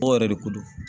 O yɛrɛ de ko don